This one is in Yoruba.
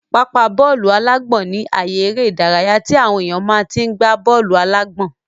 Pápá bọ́ọ̀lù-alágbọ̀n ní àye eré ìdárayá tí àwọn èèyàn máa tí n gbá bọ́ọ̀lù-alágbọ̀n